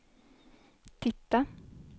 titta